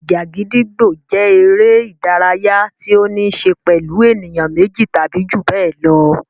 Ìjà gídígbò jẹ́ eré-idárayá tí ó níṣe pẹ̀lú ènìyàn méjì tàbí ju bẹ́ẹ̀ lọ.